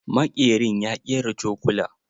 Maƙerin ya ƙera cokula.